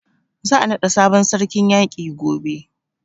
Za a naɗa sabon sarkin yaƙi gobe.